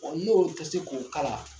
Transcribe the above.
N'o tɛ se k'o se k'o kala .